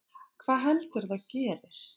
Hvað heldurðu að gerist?